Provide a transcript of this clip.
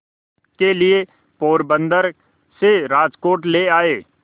के लिए पोरबंदर से राजकोट ले आए